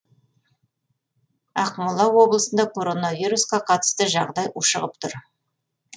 ақмола облысында коронавируска қатысты жағдай ушығып тұр